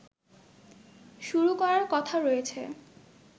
শুরু করার কথা রয়েছে